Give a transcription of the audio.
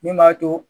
Min b'a to